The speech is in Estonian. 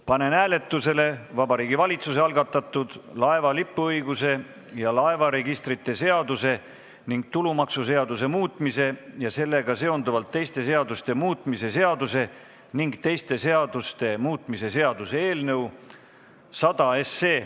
Panen hääletusele Vabariigi Valitsuse algatatud laeva lipuõiguse ja laevaregistrite seaduse ning tulumaksuseaduse muutmise ja sellega seonduvalt teiste seaduste muutmise seaduse ning teiste seaduste muutmise seaduse eelnõu 100.